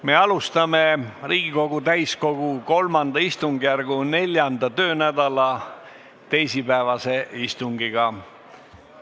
Me alustame Riigikogu täiskogu III istungjärgu 4. töönädala teisipäevast istungit.